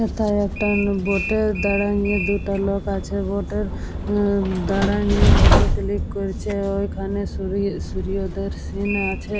হেথায় একটা বোট এর দাড়ায় নিয়ে দুটা লোক আছে। বোট এর এ দাঁড়ায় নিয়ে ফটো ক্লিক করছে। ওইখানে ওদের সিন আছে ।